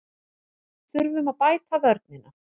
Þurfum að bæta vörnina